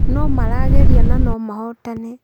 Nomarageria na nomahotane